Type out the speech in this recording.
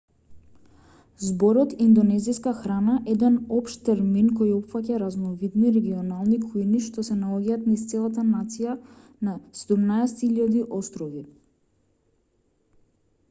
зборот индонезиска храна еден општ термин кој опфаќа разновидни регионални кујни што се наоѓаат низ целата нација на 17.000 острови